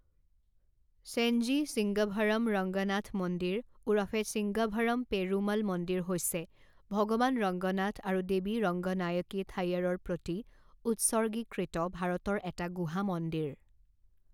চেঞ্জি ছিংগাভৰম ৰংগনাথ মন্দিৰ ওৰফে ছিঙ্গাভৰম পেৰুমল মন্দিৰ হৈছে ভগৱান ৰঙ্গনাথ আৰু দেৱী ৰঙ্গনায়কী থায়াৰৰ প্ৰতি উৎসৰ্গীকৃত ভাৰতৰ এটা গুহা মন্দিৰ।